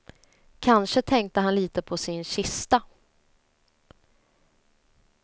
Kanske tänkte han lite på sin kista.